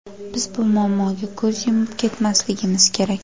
Biz bu muammoga ko‘z yumib ketmasligimiz kerak.